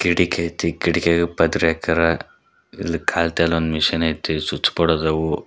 ಕಿಟಕಿ ಐತಿ ಕಿಟಕಿಗೆ ಪದ್ರೆ ಹಾಕ್ಯಾರ ಇಲ್ ಕಾಲ್ತಾಲ್ ಮಿಷಿನ್ ಐತಿ ಸ್ವಿಚ್ ಬೋರ್ಡ್ ಅದವು.